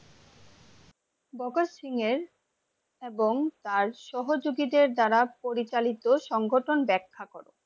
ভগত সিংহের এবং তার সহযোগীদের দ্বারা পরিচালিত সংগঠন ব্যাখ্যা করো?